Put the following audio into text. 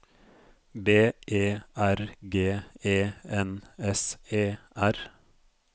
B E R G E N S E R